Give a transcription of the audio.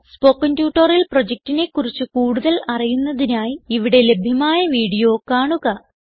spoken tutorial പ്രൊജക്റ്റിനെ കുറിച്ച് കൂടുതൽ അറിയുന്നതിനായി ഇവിടെ ലഭ്യമായ വീഡിയോ കാണുക